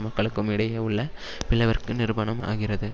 மக்களுக்கும் இடையே உள்ள பிளவிற்கு நிரூபணம் ஆகிறது